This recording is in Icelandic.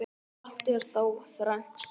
Allt er þá þrennt er.